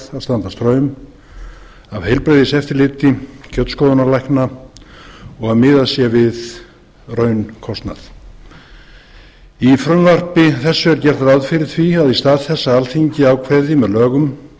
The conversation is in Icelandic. straum af heilbrigðiseftirliti kjötskoðunarlækna og að miðað sé við raunkostnað í frumvarpi þessu er gert ráð fyrir því að í stað þess að alþingi ákveði með lögum